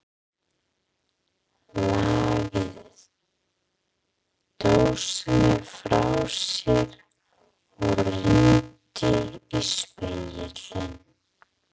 Lagði dósina frá sér og rýndi í spegilinn.